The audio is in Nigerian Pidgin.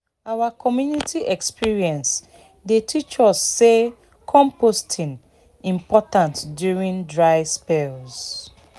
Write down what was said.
our community experience dey teach us say composting important during dry spells."